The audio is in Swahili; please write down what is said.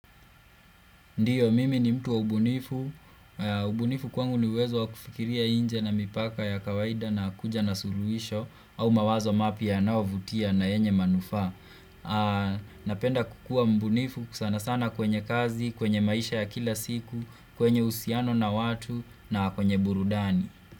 Ndio mimi ni mtu wa ubunifu, ubunifu kwangu ni uwezo wa kufikiria inje na mipaka ya kawaida na kuja na suluhisho au mawazo mapya yanayo vutia na yenye manufaa. Napenda kukua mbunifu sana sana kwenye kazi, kwenye maisha ya kila siku, kwenye uhusiano na watu na kwenye burudani.